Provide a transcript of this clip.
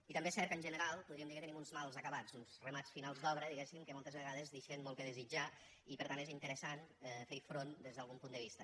i també és cert que en general podríem dir que tenim uns mal acabats uns remats finals d’obra diguéssim que moltes vegades deixen molt a desitjar i per tant és interessant fer hi front des d’algun punt de vista